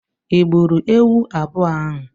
I gburu ewu abụọ ahụ?